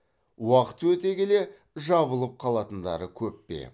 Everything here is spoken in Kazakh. уақыт өте келе жабылып қалатындары көп пе